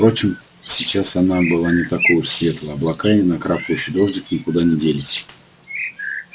впрочем сейчас она была не такой уж светлой облака и накрапывающий дождик никуда не делись